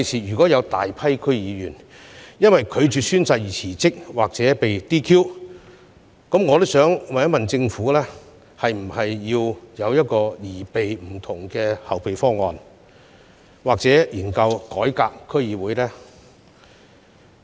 如果未來有大批區議員因為拒絕宣誓而辭職或被 "DQ"， 政府會否擬備不同的後備方案，或研究改革區議會制度？